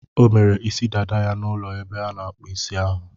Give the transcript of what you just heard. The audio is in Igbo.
O mere isi dada ya n'ụlọ ebe ana-akpụ isi ahu.